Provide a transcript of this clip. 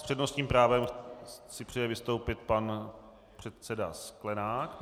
S přednostním právem si přeje vystoupit pan předseda Sklenák.